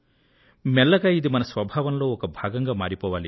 మెల్లగా ఇది మన స్వభావంలో ఒక భాగంగా మారిపోవాలి